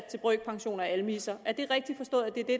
til brøkpension og almisser er det rigtigt forstået at det er det